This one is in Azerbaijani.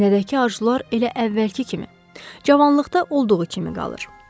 Sinədəki arzular elə əvvəlki kimi, cavanlıqda olduğu kimi qalır.